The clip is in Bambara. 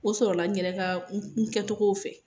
O sɔrɔla n yɛrɛ ka , n kɛ cogow fɛ.